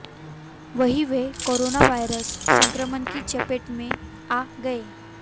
वहीं वे corona virus संक्रमण की चपेट में आ गए